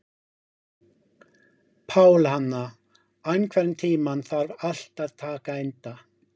Pálhanna, einhvern tímann þarf allt að taka enda.